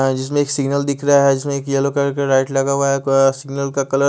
आ जिसमे एक सिगनल दिख रहा है जिसमे एक येल्लो कलर का लाइट लगा हुआ है पर सिगनल का कलर --